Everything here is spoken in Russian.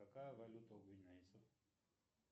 какая валюта у гвинейцев